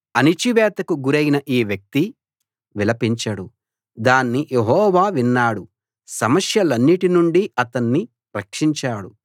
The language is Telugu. అణచివేతకు గురైన ఈ వ్యక్తి విలపించాడు దాన్ని యెహోవా విన్నాడు సమస్యలన్నిటి నుండి అతణ్ణి రక్షించాడు